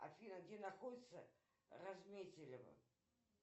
афина где находится разметелево